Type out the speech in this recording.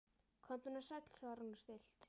Komdu nú sæll, svarar hún stillt.